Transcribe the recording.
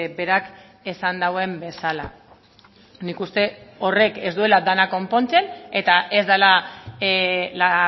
berak esan duen bezala nik uste horrek ez duela dena konpontzen eta ez dela la